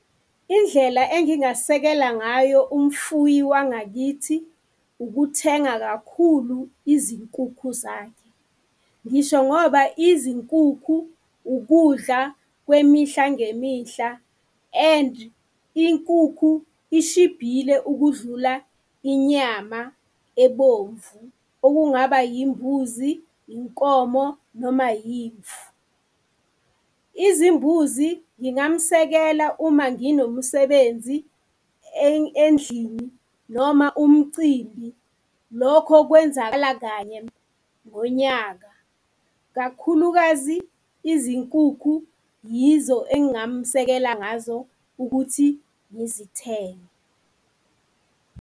Indlela engingasekela ngayo umfuyi wangakithi, ukuthenga kakhulu izinkukhu zakhe. Ngisho ngoba izinkukhu, ukudla kwemihla ngemihla and inkukhu ishibhile ukudlula inyama ebomvu, okungaba yimbuzi, inkomo noma yimvu. Izimbuzi ngingamsekela uma nginomsebenzi endlini noma umcimbi, lokho kwenzakala kanye ngonyaka. Kakhulukazi izinkukhu yizo engingamsekele ngazo ukuthi ngizithenge.